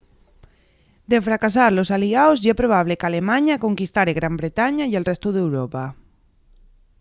de fracasar los aliaos ye probable qu'alemaña conquistare gran bretaña y el restu d'europa